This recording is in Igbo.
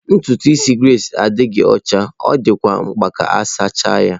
Ntutu isi Grace adịghị ọcha, ọ dịkwa mkpa ka a sachaa ya..